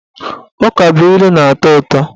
Ukabụilu na-atọ ụtọ